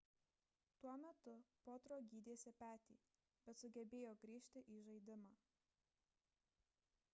tuo metu potro gydėsi petį bet sugebėjo grįžti į žaidimą